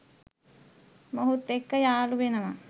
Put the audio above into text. මොහුත් එක්ක යාලු වෙනවා.